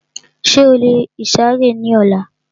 Ṣé o lè ìsàrẹ́ ní ọlá?